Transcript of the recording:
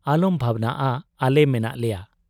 ᱟᱞᱚᱢ ᱵᱷᱟᱵᱱᱟᱜ ᱟ ᱟᱞᱮ ᱢᱮᱱᱟᱜ ᱞᱮᱭᱟ ᱾